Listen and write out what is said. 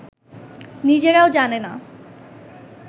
নিজেরাও জানে না